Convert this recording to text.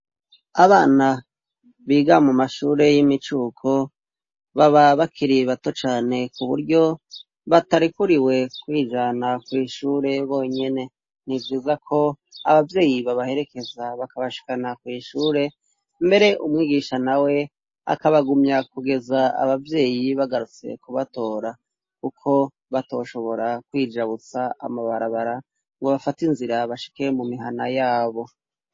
Abana biga mu mashure y'imicuko baba bakiri bato cane kuburyo batarikuriwe kwijana kwishure bonyene ntivyiza ko abavyeyi babaherekeza bakabashikana kwishure mbere umwigisha nawe akabagumya kugeza abavyeyi bagarutse kubatora kuko batoshobora kwijabutsa amabarabara ngo bafate inzira bashike mu mihana yabo.